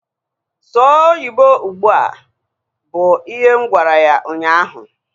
Sụọ oyibo ụgbụa! Bụ ihe m gwara ya ụnyaahụ